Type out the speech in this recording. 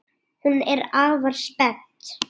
Hún er afar spennt.